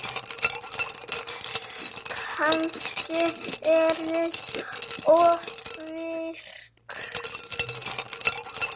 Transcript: Kannski er ég ofvirk.